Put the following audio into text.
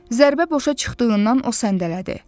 Zərbə boşa çıxdığından o səndələdi.